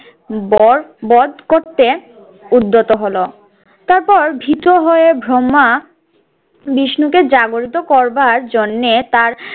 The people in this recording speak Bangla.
বর বদ করতে উদ্যত হলো। তারপর ভীত হয়ে ব্রম্মা বিষ্ণুকে জাগরিত করবার জন্যে তার